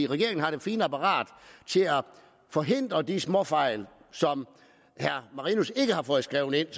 regeringen har det fine apparat til at forhindre de småfejl som herre marinus har fået skrevet ind